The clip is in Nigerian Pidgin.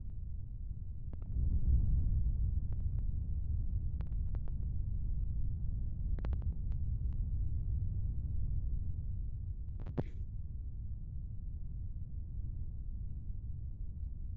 di blankets dey made from thick wool wit colourful patterns wey dey tell di tori di tori of di basotho pipo history